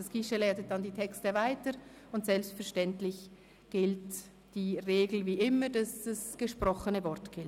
Das Guichet leitet die Texte dann weiter, und selbstverständlich gilt wie immer die Regel, dass das gesprochene Wort gilt.